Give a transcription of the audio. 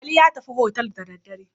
Ali ya tafi hotel da daddare.